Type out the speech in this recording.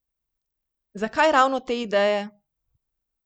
Zakaj ravno te ideje?